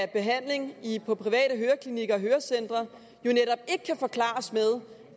behandlingen på private høreklinikker og hørecentre ikke kan forklares med